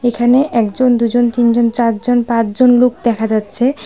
এখানে একজন দুজন তিনজন চারজন পাঁচজন লোক দেখা যাচ্ছে।